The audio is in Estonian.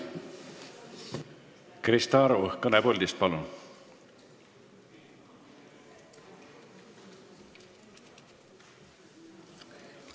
Krista Aru, kõne puldist, palun!